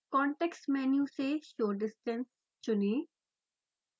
context menu से show distance चुनें